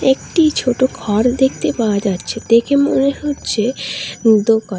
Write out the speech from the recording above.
একটি ছোট ঘর দেখতে পাওয়া যাচ্ছে দেখে মনে হচ্ছে দোকান।